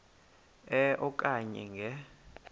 e okanye nge